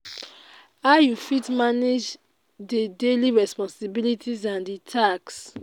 how you fit manage di daily responsibilities and di tasks?